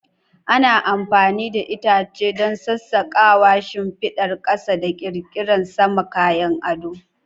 Ana amfani da itace don sassaƙawa, shimfidar ƙasa da ƙirƙirar saman kayan ado.